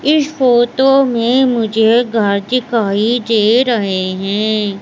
इस फोटो में मुझे घर दिखाई दे रहे हैं।